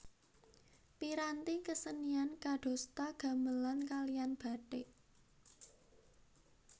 Piranti kesenian kadosta gamelan kaliyan batik